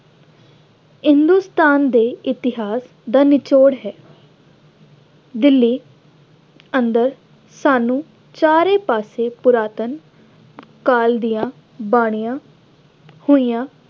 ਹਿੰਦੁਸਤਾਨ ਦੇ ਇਤਿਹਾਸ ਦਾ ਨਿਚੋੜ ਹੈ। ਦਿੱਲੀ ਅੰਦਰ ਸਾਨੂੰ ਸਾਰੇ ਪਾਸੇ ਪੁਰਾਤਨ ਕਾਲ ਦੀਆਂ ਬਣੀਆਂ ਹੋਈਆਂ